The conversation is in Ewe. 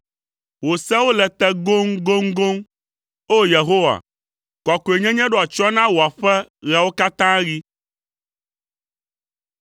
Wò sewo le te goŋgoŋgoŋ; O! Yehowa, kɔkɔenyenye ɖo atsyɔ̃ na wò aƒe ɣeawo katã ɣi.